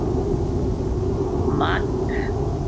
Magg